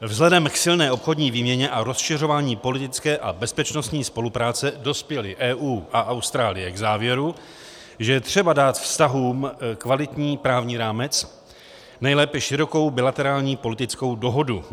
Vzhledem k silné obchodní výměně a rozšiřování politické a bezpečnostní spolupráce dospěly EU a Austrálie k závěru, že je třeba dát vztahům kvalitní právní rámec, nejlépe širokou bilaterární politickou dohodu.